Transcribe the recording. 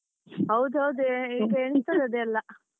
ಹೌದ್ ಹೌದು ಈಗ ಎಣಿಸ್ತದೆ ಅದೆಲ್ಲ.